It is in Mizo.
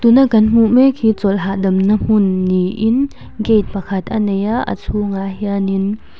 tuna kan hmuh mek hi chawlh hahdamna hmun niin gate pakhat a neia a chhungah hianin--